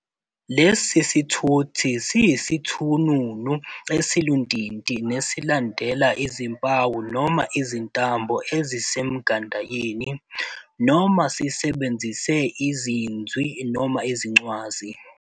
Lesi sithuthi siyisithununu esiluntinti nesilandela izimpawu noma izintambo ezisemgandayeni, noma sisebenzise iziNzwi noma iziCwazi.